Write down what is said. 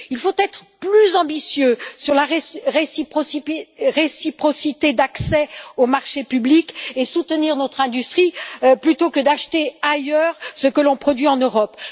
Il faut être plus ambitieux sur la réciprocité d'accès aux marchés publics et soutenir notre industrie plutôt que d'acheter ailleurs ce que l'on produit en Europe.